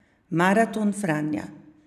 Maraton Franja.